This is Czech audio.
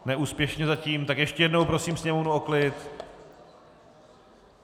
Neúspěšně zatím, tak ještě jednou prosím sněmovnu o klid..